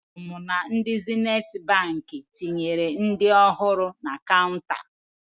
Anụrụ m na ndị Zenithi Baankị tinyere ndị ọhụrụ na kaụnta